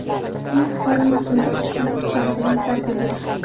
uning qorin qismiga oshxona pichog‘i bilan zarba bergan.